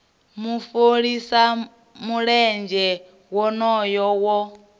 mu fholisa mulenzhe wonoyo wo